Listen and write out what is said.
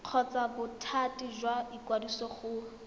kgotsa bothati jwa ikwadiso go